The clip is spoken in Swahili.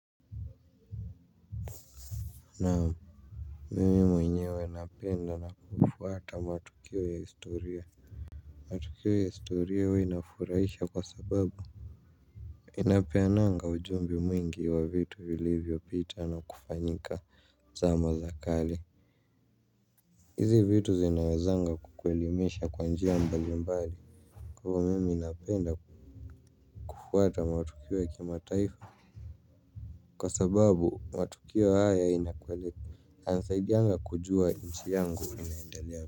Naam. Mimi mwenyewe napenda na kufuata matukio ya historia. Matukio ya historia huwa inafurahisha kwa sababu inapeana ujumbe mwingi wa vitu vilivyopita na kufanyika zama za kale. Hizi vitu zinawezanga kukuelimisha kwa njia mbalimbali. Kwa hivyo mimi napenda kufuata matukio ya kimataifa. Kwa sababu matukio haya inanisaidianga kujua nchi yangu inaendelea.